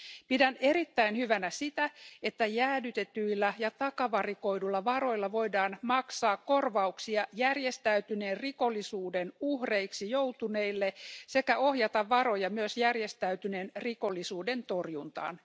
Pidän erittäin hyvänä sitä, että jäädytetyillä ja takavarikoidulla varoilla voidaan maksaa korvauksia järjestäytyneen rikollisuuden uhreiksi joutuneille sekä ohjata varoja myös järjestäytyneen rikollisuuden torjuntaan.